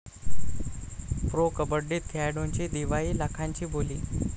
Pro कबड्डीत खेळाडूंची दिवाळी, लाखांची बोली!